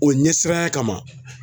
O ɲɛsiranya kama